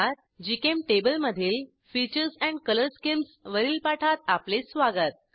GChemTable मधील features and colour schemes वरील पाठात आपले स्वागत